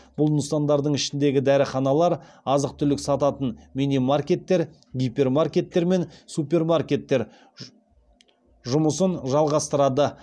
бұл нысандардың ішіндегі дәріханалар азық түлік сататын мини маркеттер гипермаркеттер мен супермаркеттер жұмысын жалғастырады